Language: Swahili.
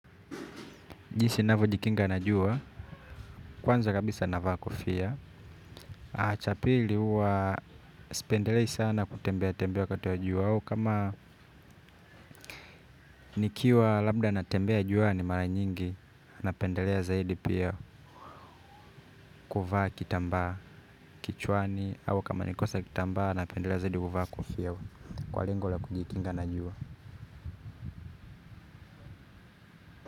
Jinsi navyojikinga na jua, kwanza kabisa anavaa kofia. Aaa cha pili huwa sipendelei sana kutembea tembea wakati wa jua au kama nikiwa labda natembea juani mara nyingi napendelea zaidi pia kuvaa kitambaa kichwani au kama nikikosa kitambaa napendelea zaidi kuvaa kofia kwa lengo la kujikinga na jua.